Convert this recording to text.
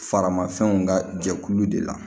Faramafɛnw ka jɛkulu de la